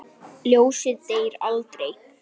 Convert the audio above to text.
Ljósið deyr aldrei.